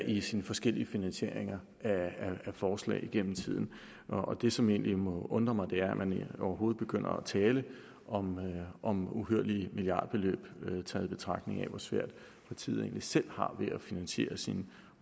i sine forskellige finansieringer af forslag igennem tiden og det som egentlig må undre mig er at man overhovedet begynder at tale om om uhyrlige milliardbeløb når man tager i betragtning hvor svært partiet egentlig selv har ved at finansiere sine